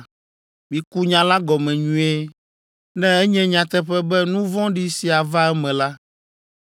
miku nya la gɔme nyuie. Ne enye nyateƒe be nu vɔ̃ɖi sia va eme la,